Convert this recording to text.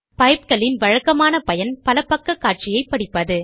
பைப்கள் இன் வழக்கமான பயன் பலபக்க காட்சியை படிப்பது